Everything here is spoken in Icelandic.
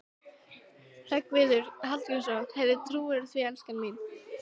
Hreggviður Hallgrímsson: Heyrðu, trúirðu því, elskan mín?